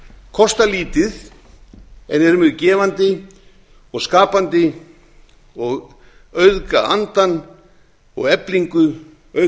kosta lítið en eru mjög gefandi og skapandi og auðga andann og eflingu auk